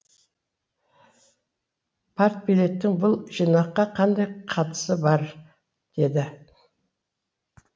партбилеттің бұл жинаққа қандай қатысы бар деді